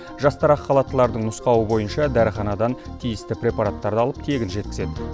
жастар ақ халаттылардың нұсқауы бойынша дәріханадан тиісті препараттарды алып тегін жеткізеді